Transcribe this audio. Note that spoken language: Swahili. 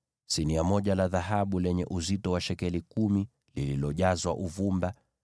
sinia moja la dhahabu lenye uzito wa shekeli kumi, likiwa limejazwa uvumba;